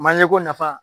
Manje ko nafa